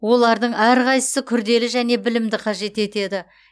олардың әрқайсысы күрделі және білімді қажет етеді